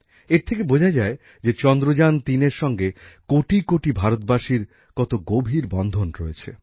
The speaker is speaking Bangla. এর থেকে বোঝা যায় যে চন্দ্রযান ৩এর সঙ্গে কোটিকোটি ভারতবাসীর কত গভীর বন্ধন রয়েছে